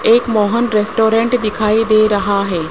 एक मोहन रेस्टोरेंट दिखाई दे रहा है।